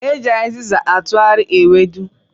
E ji azịzị asụ ewedu